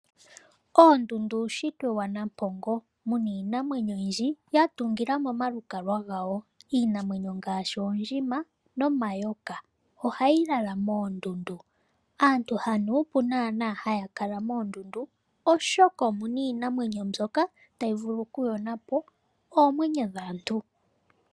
Oondundu uunshitwe wanampongo muna iinamwenyo oyindji ya tungila mo omalukalwa gawo. Iinamwenyo ngaashi oondjima nomayoka ohayi lala moondundu. Aantu hanuupu naana haya kala moondundu oshoka omu na iinamwenyo mbyoka tayi vulu oku yona po oomwenyo dhaantu.